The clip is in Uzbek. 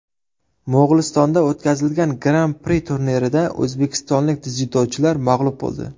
Mo‘g‘ulistonda o‘tkazilgan Gran-Pri turnirida o‘zbekistonlik dzyudochilar mag‘lub bo‘ldi.